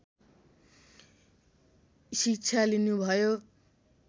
शिक्षा लिनुभयो